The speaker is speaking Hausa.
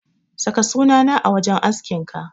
Saka sunana a wajen askinka.